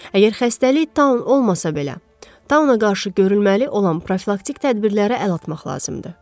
Əgər xəstəlik Taun olmasa belə, Tauna qarşı görülməli olan profilaktik tədbirlərə əl atmaq lazımdır.